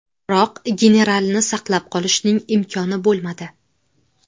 Biroq generalni saqlab qolishning imkoni bo‘lmadi.